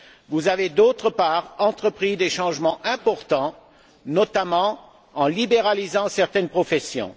Vous avez, d'autre part, entrepris des changements importants, notamment en libéralisant certaines professions.